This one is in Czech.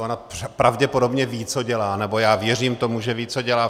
Ona pravděpodobně ví, co dělá, nebo já věřím tomu, že ví, co dělá.